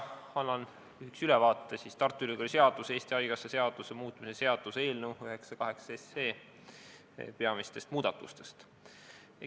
Annan lühikese ülevaate Tartu Ülikooli seaduse ja Eesti Haigekassa seaduse muutmise seaduse eelnõus 98 tehtavatest peamistest muudatustest.